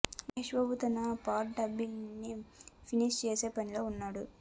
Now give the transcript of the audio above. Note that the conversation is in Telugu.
మహేష్ బాబు తన పార్ట్ డబ్బింగ్ ని ఫినిష్ చేసే పనిలో ఉన్నాడు